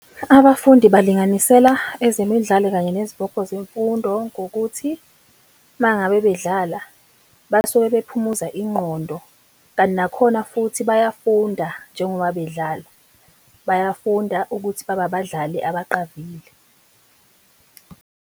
Abafundi balinganisela ezemidlalo kanye nezibopho zemfundo ngokuthi, uma ngabe bedlala basuke bekuphumuza ingqondo. Kanti nakhona futhi bayafunda njengoba bedlala, bayafunda ukuthi babe abadlali abaqavile.